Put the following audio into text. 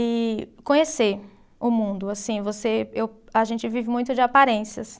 E conhecer o mundo, assim, você, eu, a gente vive muito de aparências.